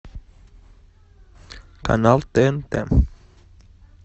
канал тнт